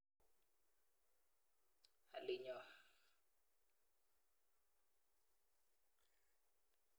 Alinyo.